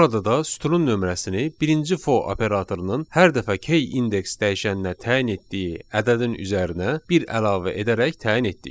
Burada da sütunun nömrəsini birinci for operatorunun hər dəfə key indeks dəyişəninə təyin etdiyi ədədin üzərinə bir əlavə edərək təyin etdik.